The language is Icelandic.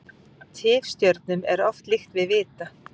Tifstjörnum er oft líkt við vita.